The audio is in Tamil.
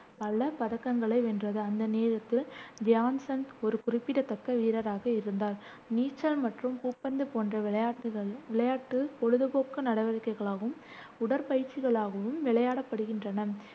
பல பதக்கங்களை வென்றது. அந்த நேரத்தில் தியான் சந்த் ஒரு குறிப்பிடத்தக்க வீரராக இருந்தார். நீச்சல் மற்றும் பூப்பந்து போன்ற விளையாட்டுகள் விளையாட்டு பொழுதுபோக்கு நடவடிக்கைகளாகும் உடற்பயிற்சிகளாகவும் விளையாடப்படுகின்றன.